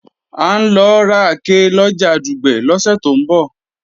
À ń lọ rake lọjà Dùgbẹ̀ lọ́sẹ̀ tó ń bọ̀